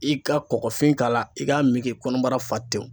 I ka kɔkɔfin k'a la i k'a min k'i kɔnɔbara fa tɛw.